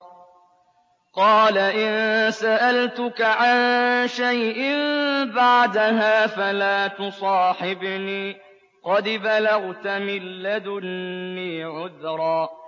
قَالَ إِن سَأَلْتُكَ عَن شَيْءٍ بَعْدَهَا فَلَا تُصَاحِبْنِي ۖ قَدْ بَلَغْتَ مِن لَّدُنِّي عُذْرًا